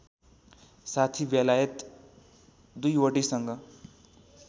साथी बेलायत दुईवटैसँग